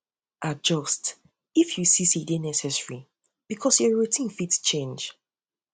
adjust if you see sey e um dey necessary because um your routine fit change